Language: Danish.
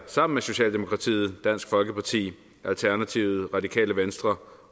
sammen med socialdemokratiet dansk folkeparti alternativet det radikale venstre